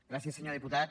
gràcies senyor diputat